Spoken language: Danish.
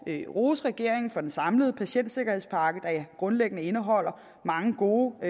at rose regeringen for den samlede patientsikkerhedsspakke der grundlæggende indeholder mange gode